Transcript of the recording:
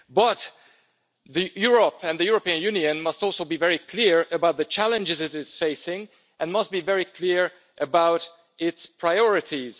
But Europe and the European Union must also be very clear about the challenges it is facing and must be very clear about its priorities.